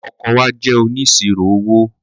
Àwọn ọkọ wa jẹ́ oníṣirò owó.